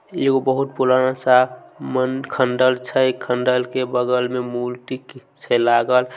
ई एगो बहुत पुराना सा मंदिर खंडर छै खंडर के बगल में मूर्ति की से लागल ।